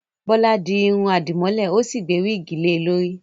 Bọ́lá di irun àdìmọ́lẹ̀, ó sì gbé wíìgì lè e lórí